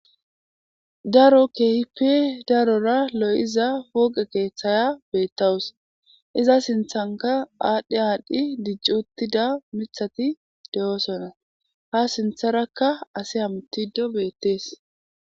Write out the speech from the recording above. Daro kehippe daro lo'iza poqqe keththya bettawus iza sinththanka adhi adhi dicci uttida miththati de'ossona ha sinththaraka asi hamuttidi bettesi.